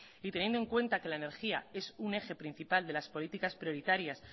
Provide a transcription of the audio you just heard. y teniendo en cuenta que la energía es un eje principal de las políticas prioritarias